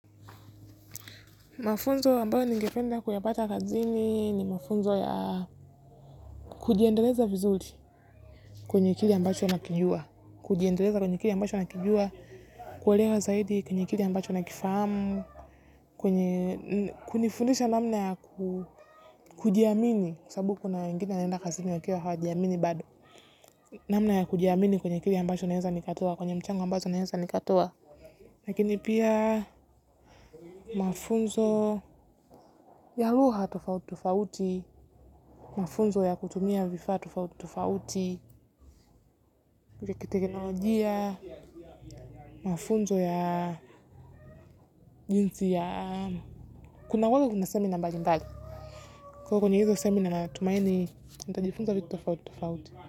Mafunzo ambayo ningependa kuyapata kazini ni mafunzo ya kujiendeleza vizuri kwenye akili kwenye kile ambacho nakijua, kuwalera zaidi kwenye kile ambacho nakifamu, kwenye kunifundisha namna ya kujiamini, kusabu kuna wengine naenda kazini wa kiyo hawa jiamini bado, namna ya kujiamini kwenye kile ambacho nakijua, kwenye mchango ambacho nakijua. Lakini pia mafunzo ya haluha tufauti tufauti, mafunzo ya kutumia vifa tufauti tufauti, kikiteknolojia, mafunzo ya jinsi ya kuna kuanga na semina mbalimbali. Kwa kwenye hilo seminar na tumaini, nita jifunza vitu tufauti tufauti.